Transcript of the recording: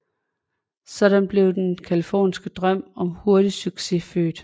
Sådan blev den californiske drøm om hurtig succes født